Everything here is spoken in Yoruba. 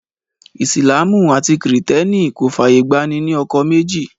Ìsìlámù àti kìrìtẹ́nì kò fàyè gba ní ní ọkọ méjì